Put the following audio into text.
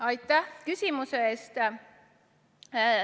Aitäh küsimuse eest!